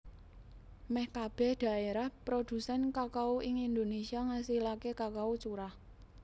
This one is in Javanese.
Mèh kabèh dhaérah prodhusèn kakao ing Indonésia ngasilaké kakao curah